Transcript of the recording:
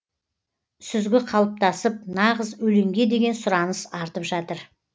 сүзгі қалыптасып нағыз өлеңге деген сұраныс артып жатыр